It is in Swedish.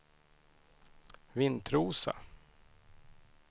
Vintrosa